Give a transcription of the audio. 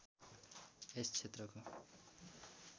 यस क्षेत्रको